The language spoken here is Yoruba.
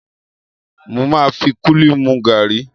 Mo máa fi kúlíkúlí mu gàrí.